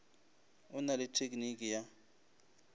o na le tekniki ya